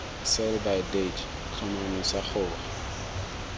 sell by date tlhomamisa gore